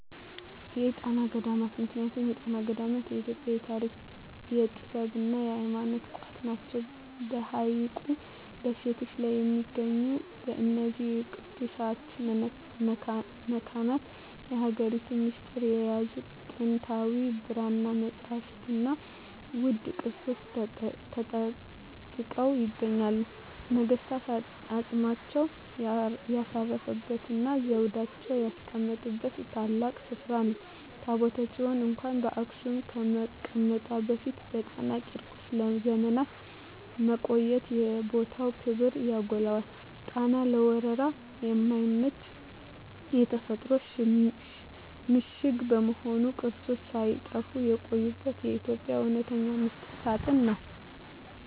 የጣና ገዳማት ምክንያቱም የጣና ገዳማት የኢትዮጵያ የታሪክ፣ የጥበብና የሃይማኖት ቋት ናቸው። በሐይቁ ደሴቶች ላይ በሚገኙት በእነዚህ ቅዱሳት መካናት፣ የሀገሪቱን ሚስጥር የያዙ ጥንታዊ የብራና መጻሕፍትና ውድ ቅርሶች ተጠብቀው ይገኛሉ። ነገሥታት አፅማቸውን ያሳረፉበትና ዘውዳቸውን ያስቀመጡበት ታላቅ ስፍራ ነው። ታቦተ ጽዮን እንኳን በአክሱም ከመቀመጧ በፊት በጣና ቂርቆስ ለዘመናት መቆየቷ የቦታውን ክብር ያጎላዋል። ጣና ለወረራ የማይመች የተፈጥሮ ምሽግ በመሆኑ፣ ቅርሶች ሳይጠፉ የቆዩበት የኢትዮጵያ እውነተኛ ሚስጥር ሳጥን ነው።